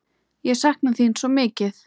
Ég sakna þín svo mikið.